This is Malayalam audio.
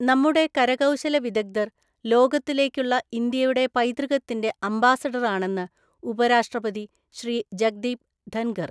നമ്മുടെ കരകൗശല വിദഗ്ധർ ലോകത്തിലേക്കുള്ള ഇന്ത്യയുടെ പൈതൃകത്തിന്റെ അംബാസഡറാണെന്ന് ഉപരാഷ്ട്രപതി ശ്രീ ജഗ്ദീപ് ധൻഖർ.